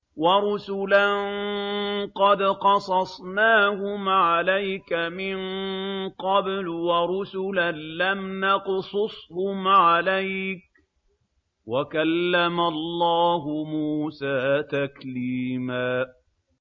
وَرُسُلًا قَدْ قَصَصْنَاهُمْ عَلَيْكَ مِن قَبْلُ وَرُسُلًا لَّمْ نَقْصُصْهُمْ عَلَيْكَ ۚ وَكَلَّمَ اللَّهُ مُوسَىٰ تَكْلِيمًا